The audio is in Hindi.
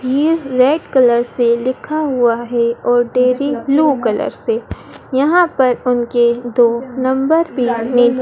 ये रेड कलर से लिखा हुआ है और डेरी ब्लू कलर से यहां पर उनके दो नंबर भी नी--